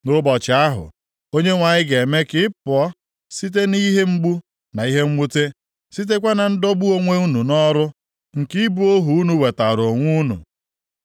Nʼụbọchị ahụ, Onyenwe anyị ga-eme ka ị pụọ site nʼihe mgbu na ihe mwute, sitekwa na ndọgbu onwe unu nʼọrụ nke ịbụ ohu unu wetaara onwe unu,